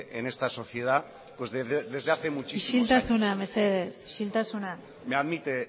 en esta sociedad pues desde hace muchísimos años isiltasuna mesedez isiltasuna me admite